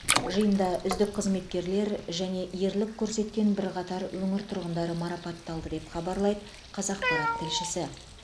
жиында үздік қызметкерлер және ерлік көрсеткен бірқатар өңір тұрғындары марапатталды деп хабарлайды қазақпарат тілшісі